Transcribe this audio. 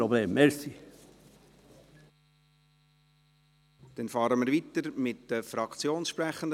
Wir fahren weiter mit den Fraktionssprechenden.